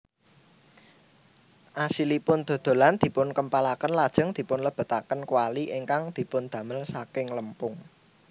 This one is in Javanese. Asilipun dodolan dipunkempalaken lajeng dipunlebetaken kwali ingkang dipundamel saking lempung